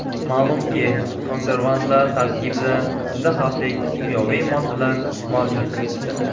Ma’lumki, konservantlar tarkibida juda xavfli kimyoviy moddalar mavjud.